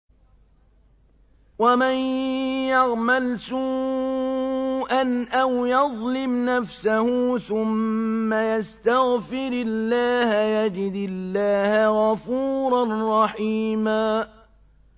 وَمَن يَعْمَلْ سُوءًا أَوْ يَظْلِمْ نَفْسَهُ ثُمَّ يَسْتَغْفِرِ اللَّهَ يَجِدِ اللَّهَ غَفُورًا رَّحِيمًا